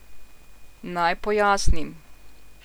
Naj pojasnim.